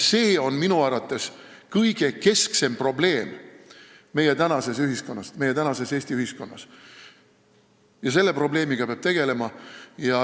See on minu arvates keskne probleem tänases Eesti ühiskonnas ja selle probleemiga peab tegelema.